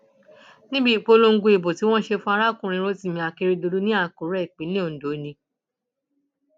níbi ìpolongo ìbò tí wọn ṣe fún arákùnrin rotimi akérèdọlù ní àkúrẹ ìpínlẹ ondo ni